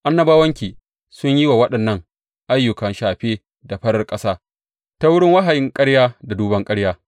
Annabawanki sun yi wa waɗannan ayyuka shafe da farar ƙasa ta wurin wahayin ƙarya da duban ƙarya.